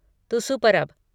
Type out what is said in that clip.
तुसु परब